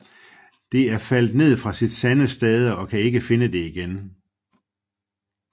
Det er faldet ned fra sit sande stade og kan ikke finde det igen